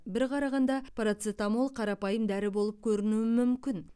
бір қарағанда парацетамол қарапайым дәрі болып көрінуі мүмкін